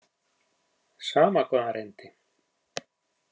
Sama hvað hann reyndi.